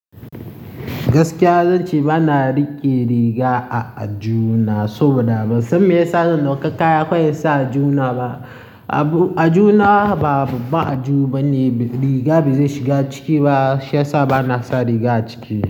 Gaskiya zan ce ba na riƙe riga a aju na so ba daban. Sam ma ya sa zan ɗauka kaya kawai ya sa aju na ba. Aju na ba aju bane, riga bai shiga ciki ba shi ya sa ba na sa riga ciki.